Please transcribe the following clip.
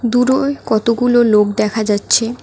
দুরোয় কতগুলো লোক দেখা যাচ্ছে।